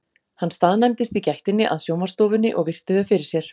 Hann staðnæmdist í gættinni að sjónvarpsstofunni og virti þau fyrir sér.